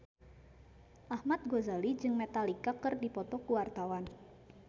Ahmad Al-Ghazali jeung Metallica keur dipoto ku wartawan